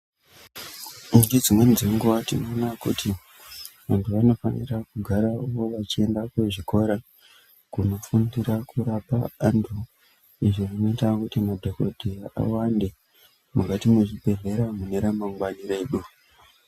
Ngedzimweni dzenguva tinoona kuti vantu vanofana kugarawo vachienda kuzvikora kunofundira kurapa antu. Izvi zvinoita kuti madhokoteya iwande mukati mwezvibhehlera mune ramangwani redu.